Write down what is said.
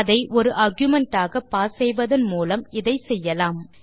அதை ஒரு ஆர்குமென்ட் ஆக பாஸ் செய்வதன் மூலம் இதை செய்யலாம்